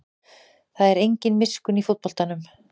Það er engin miskunn í fótboltanum